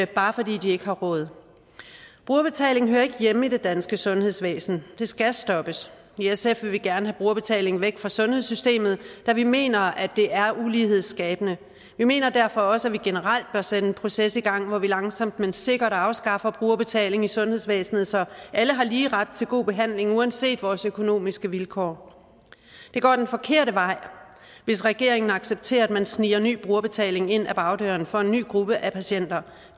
bare fordi de ikke har råd brugerbetaling hører ikke hjemme i det danske sundhedsvæsen det skal stoppes i sf vil vi gerne have brugerbetalingen væk fra sundhedssystemet da vi mener at det er ulighedsskabende vi mener derfor også at vi generelt bør sætte en proces i gang hvor vi langsomt men sikkert afskaffer brugerbetaling i sundhedsvæsenet så vi alle har lige ret til god behandling uanset vores økonomiske vilkår det går den forkerte vej hvis regeringen accepterer at man sniger ny brugerbetaling ind ad bagdøren for en nye gruppe af patienter